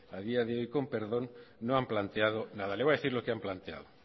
a día de hoy no han planteado nada le voy a decir lo que han planteado